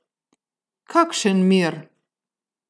Kakšen mir?